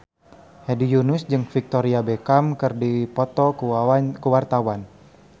Hedi Yunus jeung Victoria Beckham keur dipoto ku wartawan